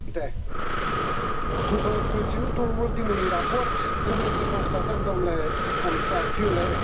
După conținutul ultimului raport, trebuie să constatăm, dle comisar Füle, câteva lucruri.